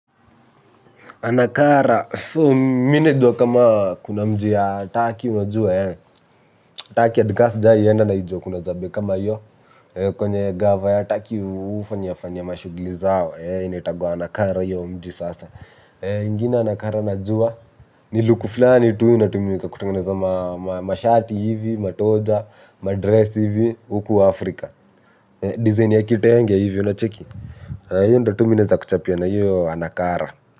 Anakara, so mine do kuna mji ya Taki wajua ya Taki adgas jayi yena na ijua kuna zabe kama yu kwenye gava ya Taki ufanyafanyama shuglizao, ene itagwa Anakara yu mji sasa. Mwingine Anakara najua ni luku flani tu wina tumiwika kutanganeza mashati hivi, matoja, madres hivi uku Afrika. Design ya kitenge hivi unacheki, hiyo ndo tu mi naeza kuchapia na hiyo Anakara.